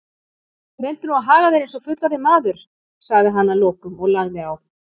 Reyndu nú að haga þér einsog fullorðinn maður, sagði hann að lokum og lagði á.